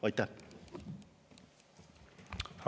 Aitäh!